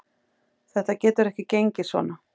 Þetta getur ekki gengið svona.